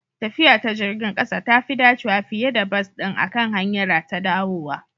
Tafiya ta jirgin ƙasa tafi dacewa fiye da bas ɗin akan hanyara ta dawowa